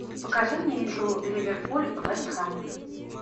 покажи мне игру ливерпуль вест хэм